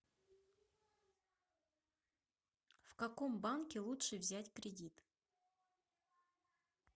в каком банке лучше взять кредит